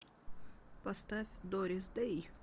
поставь дорис дэй